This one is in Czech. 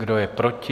Kdo je proti?